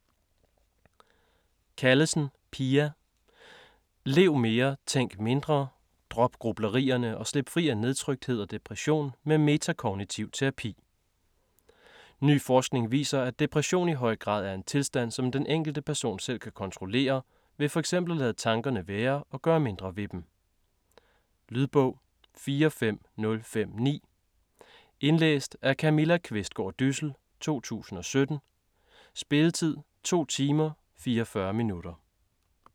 Callesen, Pia: Lev mere tænk mindre: drop grublerierne og slip fri af nedtrykthed og depression med metakognitiv terapi Ny forskning viser, at depression i høj grad er en tilstand som den enkelte person selv kan kontrollere, ved f.eks. at lade tankerne være og gøre mindre ved dem. Lydbog 45059 Indlæst af Camilla Qvistgaard Dyssel, 2017. Spilletid: 2 timer, 44 minutter.